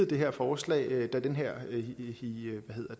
det her forslag da den her